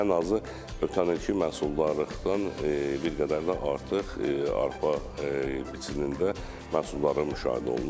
Ən azı ötən ilki məhsullardan bir qədər də artıq arpa biçimində məhsuldarlıq müşahidə olunur.